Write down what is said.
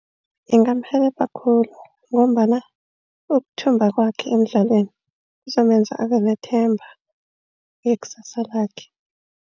Ingamurhelebha khulu ngombana ukuthumba kwakhe emidlalweni, kuzomenza abanethemba ngekusasa lakhe.